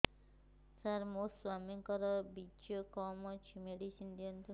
ସାର ମୋର ସ୍ୱାମୀଙ୍କର ବୀର୍ଯ୍ୟ କମ ଅଛି ମେଡିସିନ ଦିଅନ୍ତୁ